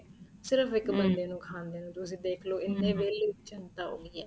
ਸਿਰਫ਼ ਇੱਕ ਬੰਦੇ ਨੂੰ ਖਾਦੇ ਨੂੰ ਤੁਸੀਂ ਦੇਖਲੋ ਐਨੀ ਵਹਿਲੀ ਜੰਤਾ ਹੋ ਗਈ ਏ